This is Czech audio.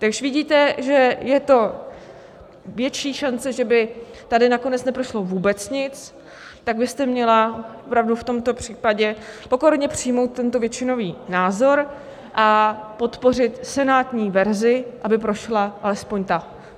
Když vidíte, že je to větší šance, že by tady nakonec neprošlo vůbec nic, tak byste měla opravdu v tomto případě pokorně přijmout tento většinový názor a podpořit senátní verzi, aby prošla alespoň ta.